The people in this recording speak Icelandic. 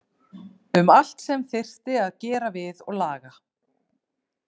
Um allt sem þyrfti að gera við og laga.